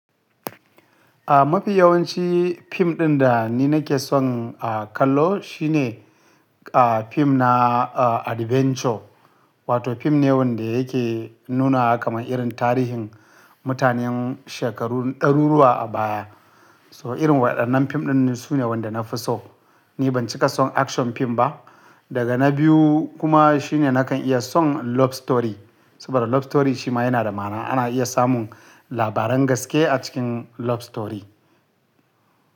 Ah mafi yawanci fim ɗin da ni nake son kallo shine ah fim na ah adventure wato fim ne wanda yake nuna kamar irin tarihin mutanen shekarun ɗaruruwa a baya. So irin waɗannan fim ɗin sune waɗanda nafi so. Ni ban cika son action fim ba daga na biyu kuma shine nakan iya son love story saboda love story shi ma yana da ma'ana. Ana iya samun labaran gaske a cikin love story.